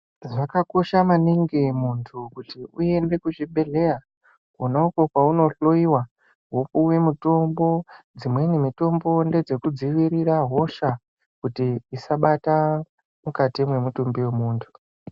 Zvakakosha maningi muntu kuti uende kuzvibhedhleya kwona uko kwauno hloyiwa wopiwe mitombo dzimweni mitombo ndedzekuudziirira hosha kuti dzisabata mukati mwemutumbi wemuntu.